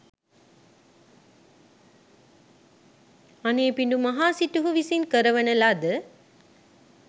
අනේපිඬු මහා සිටුහු විසින් කරවන ලද